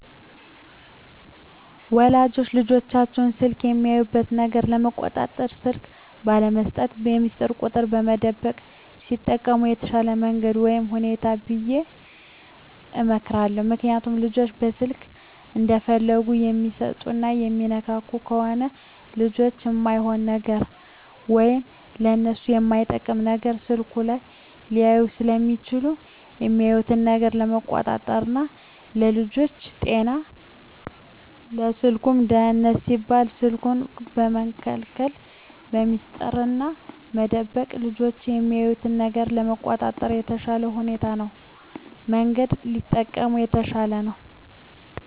ወላጆች ልጆቻቸውን በስልክ የሚያዩት ነገር ለመቆጣጠር ስልክ ባለመስጠት፣ በሚስጥር ቁጥር መደበቅ ቢጠቀሙ የተሻለ መንገድ ወይም ሁኔታ ነው ብየ እመክራለሁ። ምክንያቱም ልጆች ስልክ እንደፈለጉ የሚሰጡና የሚነካኩ ከሆነ ልጆች እማይሆን ነገር ወይም ለነሱ የማይመጥን ነገር ስልኩ ላይ ሊያዩ ስለሚችሉ የሚያዩትን ነገር ለመቆጣጠር ና ለልጆቹም ጤና ለስልኩም ደህንነት ሲባል ስልኩን በመከልከልና በሚስጥር መደበቅ ልጆች የሚያዩትን ነገር ለመቆጣጠር የተሻለ ሁኔታ ወይም መንገድ ቢጠቀሙ የተሻለ ነው።